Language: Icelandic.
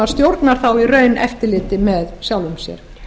stjórnar þá í raun eftirliti með sjálfum sér